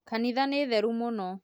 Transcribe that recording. Kanitha nĩ theru mũno